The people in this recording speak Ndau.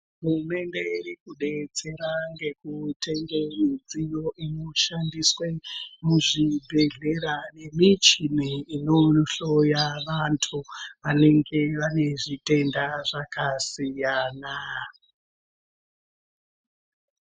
Hurumende iri kudetsera nekutengesa midziyo inoshandiswa muzvibhedhlera nemuchini inohloya vantu vanenge vane zvitenda zvakasiyana-siyana.